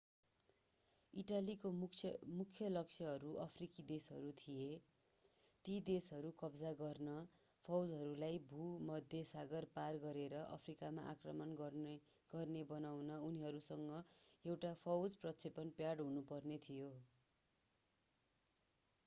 इटालीका मुख्य लक्ष्यहरू अफ्रिकी देशहरू थिए ती देशहरू कब्जा गर्न फौजहरूलाई भूमध्य सागर पार गरेर अफ्रिकामा आक्रमण गर्ने बनाउन उनीहरूसँग एउटा फौज प्रक्षेपण प्याड हुनुपर्ने थियो